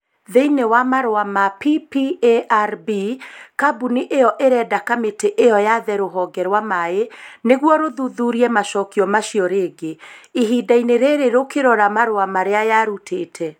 Thĩinĩ wa marũa ma PPARB, kambuni ĩyo ĩrenda kamĩtĩ ĩyo yaathe rũhonge rwa maaĩ . Nĩguo rũthuthurie macokio macio rĩngĩ. Ihinda-inĩ rĩrĩ rũkĩrora marũa marĩa yarutĩte.